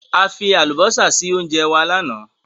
A fi àlùbósà sí óńjẹ wa lánàá.